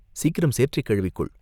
சீக்கிரம் சேற்றைக் கழுவிக் கொள்!